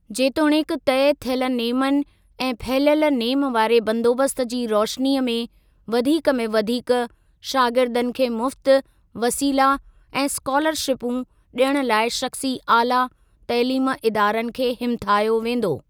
जेतोणीकि तय थियल नेमनि ऐं फहिलियल नेम वारे बंदोबस्त जी रोशनीअ में वधीक में वधीक शागिर्दनि खे मुफ्त वसीला ऐं स्कॉलरशिपूं ॾियण लाइ शख़्सी आला तइलीमी इदारनि खे हिमथायो वेंदो।